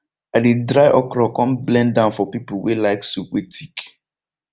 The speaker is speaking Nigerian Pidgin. i dey dry okro come blend am for people wey like soup wey thick